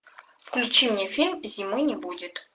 включи мне фильм зимы не будет